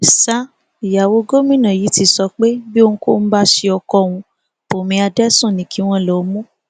sa ìyàwó gómìnà yìí ti sọ pé bí ohunkóhun bá ṣe ọkọ òun bùnmi adẹsùn ni kí wọn lọó mú